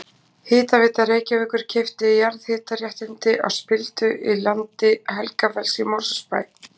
Hitaveita Reykjavíkur keypti jarðhitaréttindi á spildu í landi Helgafells í Mosfellsbæ.